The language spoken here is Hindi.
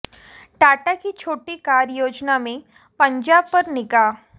टाटा की छोटी कार योजना में पंजाब पर निगाह